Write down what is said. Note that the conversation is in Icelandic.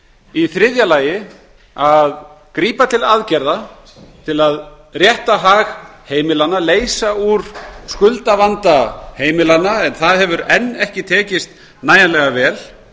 í þriðja lagi að grípa til aðgerða til að rétta hag heimilanna leysa úr skuldavanda heimilanna en það hefur enn ekki tekist nægjanlega vel